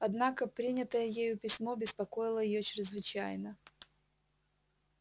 однако принятое ею письмо беспокоило её чрезвычайно